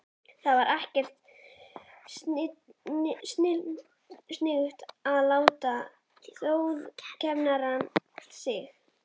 Það var ekkert sniðugt að láta þjófkenna sig.